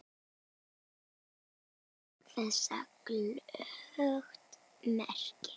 Og ber þess glöggt merki.